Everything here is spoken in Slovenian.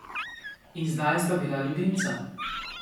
In zdaj sta bila ljubimca.